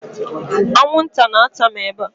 anwụnta na-ata m ebe a